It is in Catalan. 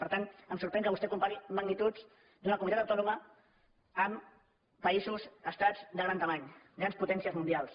per tant em sorprèn que vostè compari magnituds d’una comunitat autònoma amb països o estats de gran mida grans potències mundials